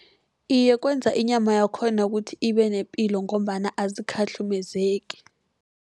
Iye, kwenza inyama yakhona kuthi ibe nepilo, ngombana azikhahlumezeki.